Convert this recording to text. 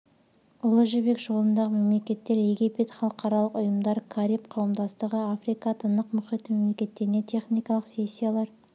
ұлы жібек жолындағы мемлекеттер египет халықаралық ұйымдар кариб қауымдастығы африка тынық мұхиты мемлекеттеріне техникалық сессиялар